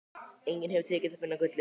Engum hefur tekist að finna gullið.